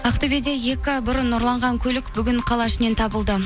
ақтөбеде екі бұрын ұрланған көлік бүгін қала ішінен табылды